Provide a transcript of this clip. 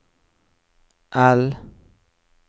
L